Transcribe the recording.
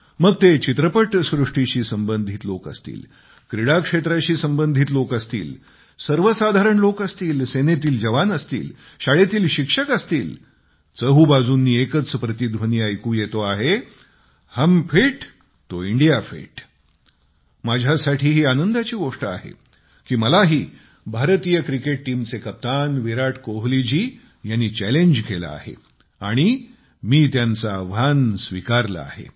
मग ते चित्रपटसृष्टीशी संबंधित लोक असतील क्रीडा क्षेत्राशी संबंधित लोक असतील सर्वसाधारण लोक असतील सेनेतील जवान असतील शाळेतील शिक्षक असतील चहूबाजूंनी एकच प्रतिध्वनी ऐकू येतो आहे हम फिट तो इंडिया फिट माझ्यासाठी ही आनंदाची गोष्ट आहे की मलाही भारतीय क्रिकेट टीमचे कर्णधार विराट कोहलीजी यांनी चॅलेंज केले आहे आणि मी त्यांचे आव्हान स्वीकारले आहे